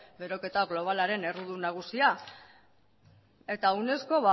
beroketa globalaren errudun nagusia eta unesco